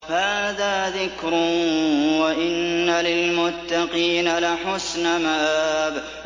هَٰذَا ذِكْرٌ ۚ وَإِنَّ لِلْمُتَّقِينَ لَحُسْنَ مَآبٍ